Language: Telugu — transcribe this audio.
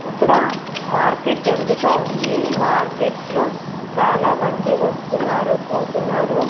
ఇక్కడ మార్కెట్ జరుగుతావుంది మార్కెట్ లో చాలామంది వస్తున్నారు పోతున్నారు.